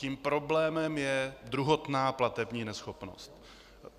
Tím problémem je druhotná platební neschopnost.